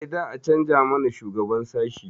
Eh, za a canza mana shugaban sashi.